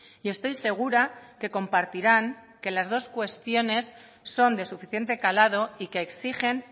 y estoy segura que compartirán que las dos cuestiones son de suficiente calado y que exigen